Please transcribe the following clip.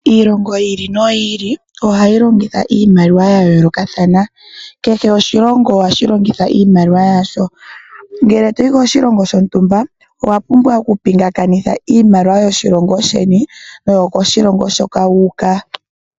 Iilongo yi ili noyi ili, ohayi longitha iimaliwa ya yoolokathana. Kehe oshilongo ohashi longitha iimaliwa yasho. Ngele toyi koshilongo shontumba, owa pumbwa okupingakanitha iimaliwa yoshilongo sheni, naambyoka yokoshilongo hoka wu uka.